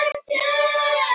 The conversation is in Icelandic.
Móbergi